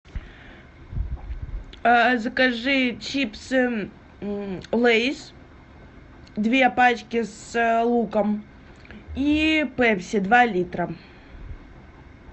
закажи чипсы лейс две пачки с луком и пепси два литра